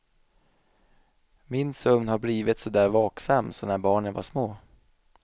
Min sömn har blivit så där vaksam som när barnen var små.